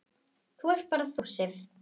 Það ert bara þú, Sif.